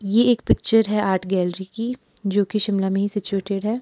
ये एक पिक्चर है आर्ट गैलरी की जो की शिमला में ही सिचुएटेड है।